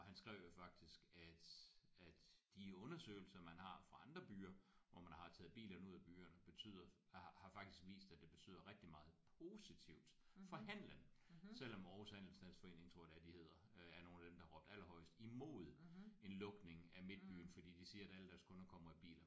Og han skrev jo faktisk at at de undersøgelser man har fra andre byer hvor man har taget bilerne ud af byerne betyder har har faktisk vist at det betyder rigtig meget positivt for handlen selvom Aarhus handelsstandsforening tror jeg endda de hedder øh er nogle af dem som har råbt allerhøjest imod en lukning af midtbyen fordi de siger alle deres kunder kommer i biler